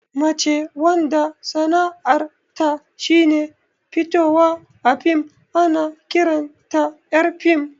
Mace wanda sana'ar ta shine fitowa a fim ana ƙiranta ƴar fim